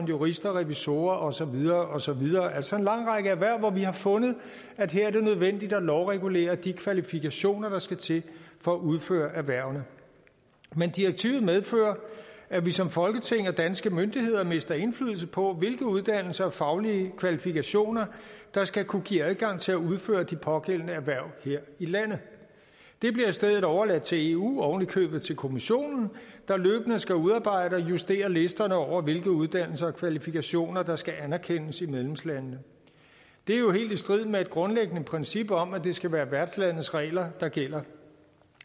jurister og revisorer og så videre og så videre altså en lang række erhverv hvor vi har fundet at her er det nødvendigt at lovregulere de kvalifikationer der skal til for at udføre erhvervene men direktivet medfører at vi som folketing og danske myndigheder mister indflydelse på hvilke uddannelser og faglige kvalifikationer der skal kunne give adgang til at udføre de pågældende erhverv her i landet det bliver i stedet overladt til eu og oven i købet til kommissionen der løbende skal udarbejde og justere listerne over hvilke uddannelser og kvalifikationer der skal anerkendes i medlemslandene det er jo helt i strid med et grundlæggende princip om at det skal være værtslandets regler der gælder